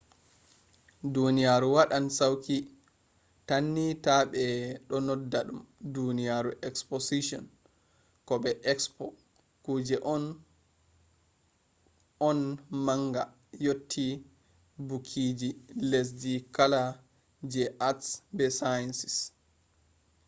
duniyaaru wadan sauki tanni ta be do nodda dum duniyaaru exposition ko bo expo kuje on kuje on manga yotti bukiji lesdi kala kala je arts be sciences